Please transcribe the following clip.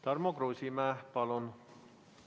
Tarmo Kruusimäe, palun!